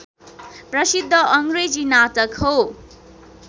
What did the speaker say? प्रसिद्ध अङ्रेजी नाटक हो